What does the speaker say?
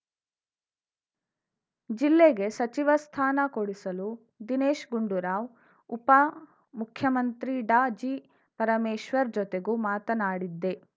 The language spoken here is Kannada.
ಜಿಲ್ಲೆಗೆ ಸಚಿವ ಸ್ಥಾನ ಕೊಡಿಸಲು ದಿನೇಶ್‌ ಗುಂಡೂರಾವ್‌ ಉಪ ಮುಖ್ಯಮಂತ್ರಿ ಡಾಜಿಪರಮೇಶ್ವರ್‌ ಜೊತೆಗೂ ಮಾತನಾಡಿದ್ದೆ